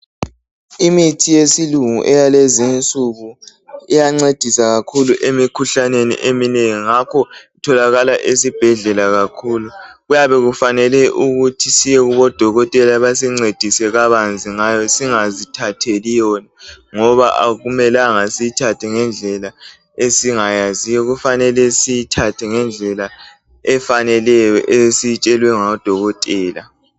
imithi yesilungu eyalezi insuku iyancedisa kakhulu emikhuhlaneni eminengi ngakho itholakala esibhedlela kakhulu. Kuyabe kufanele ukuthi siye kubo dokotela basincedise kabanzi singazithatheli yona ngoba akumelanga siyithathe ngendlela esingayaziyo kufanele siyiithathe ngendlela efaneleyo esiyitshelwe ngadokotela.